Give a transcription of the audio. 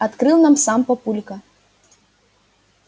открыл нам сам папулька